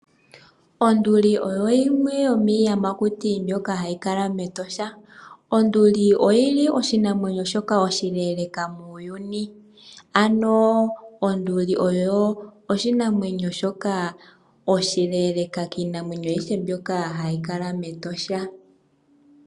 Onduli oyo yimwe yomiiyamakuti mbyoka hayi kala mEtosha. Onduli oyi li oshinamwenyo shoka oshileeleka muuyuni. Ano, onduli oyo oshinamwenyo shoka oshileeleka kiinamwenyo ayihe mbyoka hayi kala mEtosha.